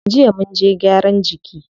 Jiya munje gyaran jiki.